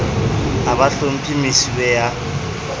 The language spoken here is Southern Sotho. ha ba hlomphe mosuwe ya